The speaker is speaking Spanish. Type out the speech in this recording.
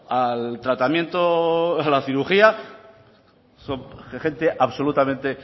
al tratamiento a la cirugía son gente absolutamente